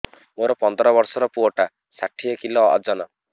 ମୋର ପନ୍ଦର ଵର୍ଷର ପୁଅ ଟା ଷାଠିଏ କିଲୋ ଅଜନ